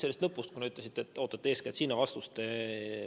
Alustame lõpust, kuna ütlesite, et ootate eeskätt sellele vastust.